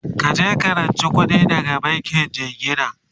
kaje ka ranci kuɗi daga bankin jingina!